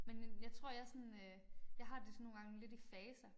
Men jeg tror jeg sådan øh jeg har det sådan nogle gange lidt i faser